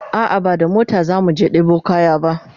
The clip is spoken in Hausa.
a'a ba da mota zamu je ɗebo kaya ba